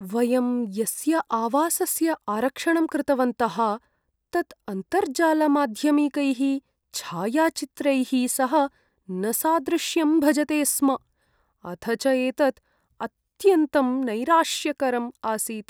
वयं यस्य आवासस्य आरक्षणं कृतवन्तः तत् अन्तर्जालमाध्यमिकैः छायाचित्रैः सह न सादृश्यं भजते स्म, अथ च एतत् अत्यन्तं नैराश्यकरम् आसीत्।